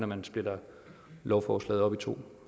man splitter lovforslaget op i to